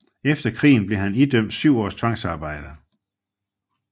Efter krigen blev han idømt syv års tvangsarbejde